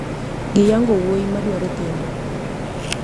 Giyango wuoyi madwaro kendo